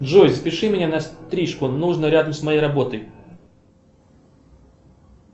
джой запиши меня на стрижку нужно рядом с моей работой